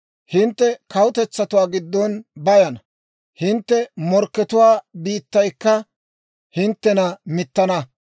Hintte kawutetsatuwaa giddon bayana; hintte morkkatuwaa biittaykka hinttena mittana.